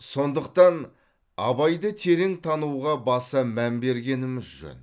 сондықтан абайды терең тануға баса мән бергеніміз жөн